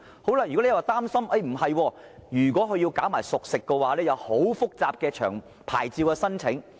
當局又擔心，如果商販售賣熟食，會涉及很複雜的牌照申請程序。